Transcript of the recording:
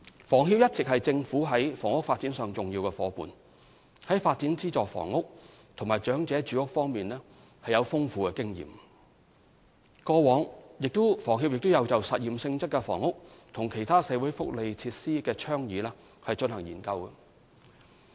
房協一直是政府在房屋發展上的重要夥伴，在發展資助房屋及長者住屋方面具有豐富經驗，過往亦有就實驗性質的房屋及其他社會福利設施的倡議進行研究。